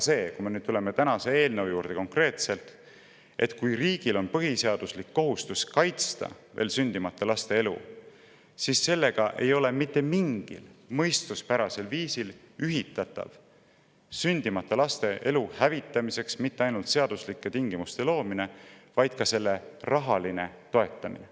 Kui me nüüd tuleme tänase eelnõu juurde, siis päris selge peaks olema see, et kui riigil on põhiseaduslik kohustus kaitsta veel sündimata laste elu, siis sellega ei ole mitte mingil mõistuspärasel viisil ühitatav mitte ainult seaduslike tingimuste loomine veel sündimata laste elu hävitamiseks, vaid ka selle rahaline toetamine.